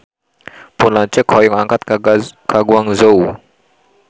Pun lanceuk hoyong angkat ka Guangzhou